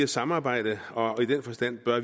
samarbejde og i den forstand bør